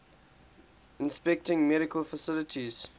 inspecting medical facilities